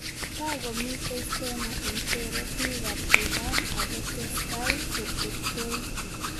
Takomitei Stena Impero peek ab. Iran akotesetai ketektoi